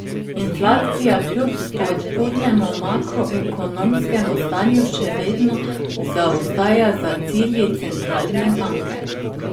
Inflacija kljub spodbudnemu makroekonomskemu stanju še vedno zaostaja za cilji centralne banke.